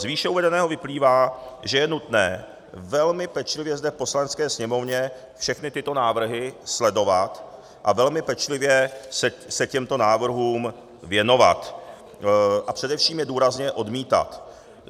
Z výše uvedeného vyplývá, že je nutné velmi pečlivě zde v Poslanecké sněmovně všechny tyto návrhy sledovat a velmi pečlivě se těmto návrhům věnovat a především je důrazně odmítat.